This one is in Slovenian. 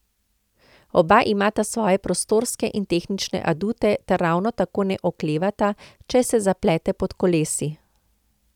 Oba imata svoje prostorske in tehnične adute ter ravno tako ne oklevata, če se zapletle pod kolesi.